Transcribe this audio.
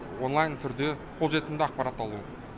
онлайн түрде қол жетімді ақпарат алу